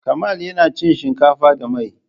Kamal yana cin shinkafa da mai.